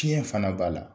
Fiɲɛ fana b'a la